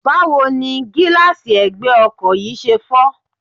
Báwo ni gíláàsì ẹ̀gbẹ́ ọkọ̀ yìí ṣe fọ́?